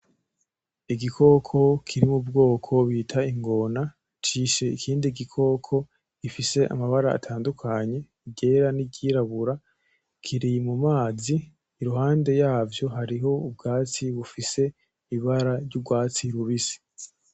Igikoko kiri mu bwoko bita ingona, cishe ikindi gikoko gifise amabara atandukanye iryera n'iryirabura, kiri mu mazi, iruhande yavyo hariho ubwatsi bufise ibara ry'urwatsi rubisi.